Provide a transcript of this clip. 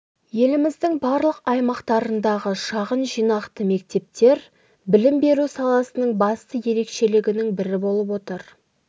еліміздің барлық аймақтарындағы шағын жинақты мектептер білім беру саласының басты ерекшелігінің бірі болып отыр